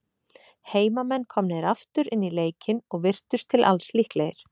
Heimamenn komnir aftur inn í leikinn, og virtust til alls líklegir.